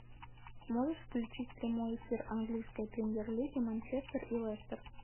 можешь включить прямой эфир английской премьер лиги манчестер и лестер